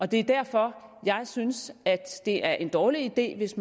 det er derfor jeg synes at det er en dårlig idé hvis